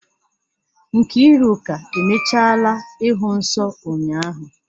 Nkiruka emechaala ịhụ nsọ ụnyahụ.